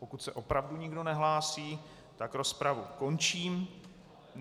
Pokud se opravdu nikdo nehlásí, tak rozpravu končím.